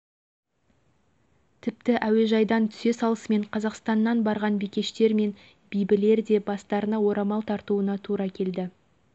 егер сіздің алдыңызда қарындасыңыз немесе қызыңыз келініңіз әпкеңіз шашын дудыратып ернін қан жалаған иттей етіп бояп